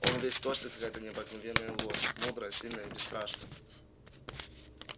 он весь точно какая-то необыкновенная лошадь мудрая сильная и бесстрашная